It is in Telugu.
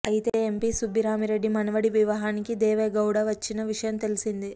అయితే ఎంపీ సుబ్బిరామిరెడ్డి మనువడి వివాహానికి దేవెగౌడ వచ్చిన విషయం తెలిసిందే